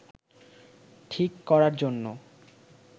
ঠিক করার জন্য